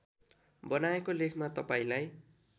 बनाएको लेखमा तपाईँलाई